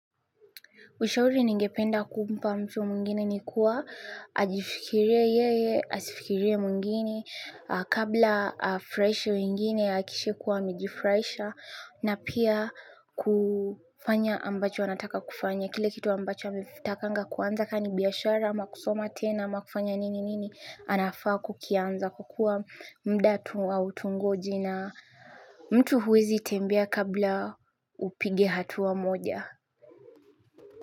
Ushauri ningependa kumpa mtu mwingine ni kuwa ajifikirie yeye, asifikirie mwingine, kabla afurahishe mwingine ahakikishe kuwa amejifurahisha na pia kufanya ambacho anataka kufanya. Kile kitu ambacho ametakanga kuanza ka ni biashara ama kusoma tena ama kufanya nini nini anafaa kukianza kwa kuwa muda tu hautungoji na mtu huwezi tembea kabla upige hatua moja.